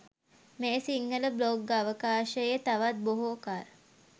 මේ සිංහල බ්ලොග් අවකාශයේ තවත් බොහෝ කල්